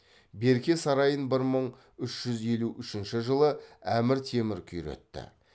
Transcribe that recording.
берке сарайын бір мың үш жүз елу үшінші жылы әмір темір күйретті